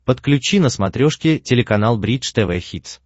подключи на смотрешке телеканал бридж тв хитс